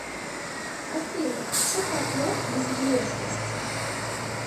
афина че как лох без внешности